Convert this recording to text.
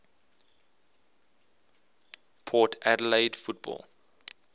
port adelaide football